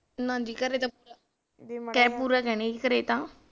ਹਾਂਜੀ ਘਰੇ ਤਾਂ ਟੈਪੂ